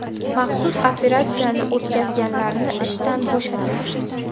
Maxsus operatsiyani o‘tkazganlarni ishdan bo‘shating.